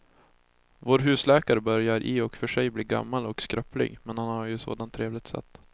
Vår husläkare börjar i och för sig bli gammal och skröplig, men han har ju ett sådant trevligt sätt!